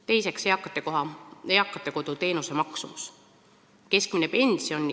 Teiseks, eakate kodu teenuse maksumus.